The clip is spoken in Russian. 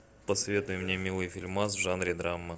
посоветуй мне милый фильмас в жанре драма